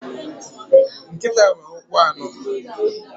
Nkịta nwere ụkwụ anọ.